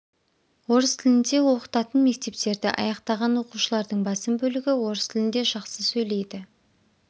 орыс тілінде оқытатын мектептерді аяқтаған оқушылардың басым бөлігі орыс тілінде жақсы сөйлейді